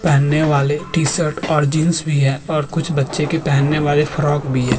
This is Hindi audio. पहनने वाले टी शर्ट और जींस भी है और बच्चे के पहनने वाले फ़्राक भी है।